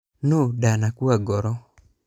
Nũ ndanakua ngoro .